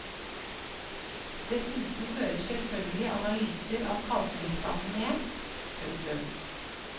Dessuten hører selvfølgelig analyser av kalktilstanden med. punktum